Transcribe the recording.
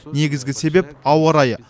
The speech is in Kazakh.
негізгі себеп ауа райы